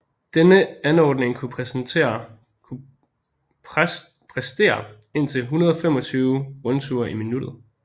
Denne anordning kunne præstere indtil 125 rundture i minuttet